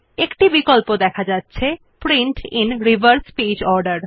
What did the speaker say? একটি check box দেখা যাচ্ছে print in reverse page order